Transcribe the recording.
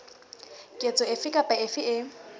ketso efe kapa efe e